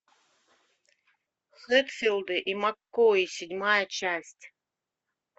хэтфилды и маккои седьмая часть